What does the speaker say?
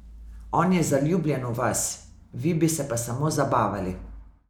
On je zaljubljen v vas, vi bi se pa samo zabavali ...